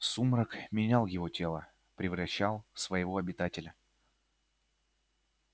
сумрак менял его тело превращал в своего обитателя